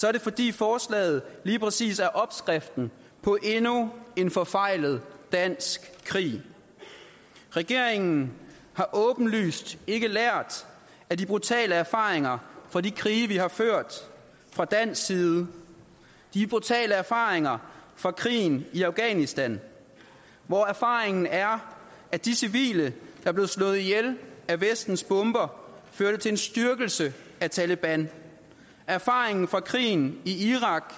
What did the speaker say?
er det fordi forslaget lige præcis er opskriften på endnu en forfejlet dansk krig regeringen har åbenlyst ikke lært af de brutale erfaringer fra de krige vi har ført fra dansk side de brutale erfaringer fra krigen i afghanistan hvor erfaringen er at de civile der blev slået ihjel af vestens bomber førte til en styrkelse af taleban erfaringen fra krigen i irak